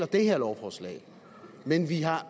det her lovforslag men vi har